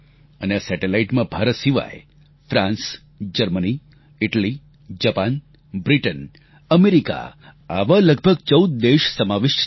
અને આ સેટેલાઇટમાં ભારત સિવાય France Germany Italy Japan Britain America આવા લગભગ 14 દેશ સમાવિષ્ટ છે